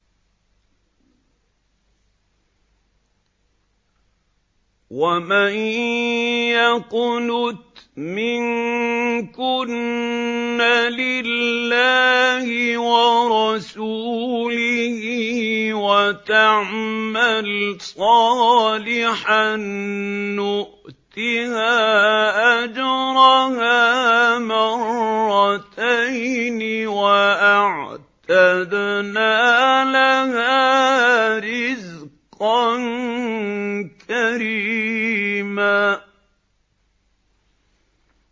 ۞ وَمَن يَقْنُتْ مِنكُنَّ لِلَّهِ وَرَسُولِهِ وَتَعْمَلْ صَالِحًا نُّؤْتِهَا أَجْرَهَا مَرَّتَيْنِ وَأَعْتَدْنَا لَهَا رِزْقًا كَرِيمًا